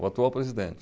O atual presidente.